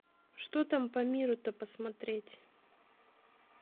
что там по миру то посмотреть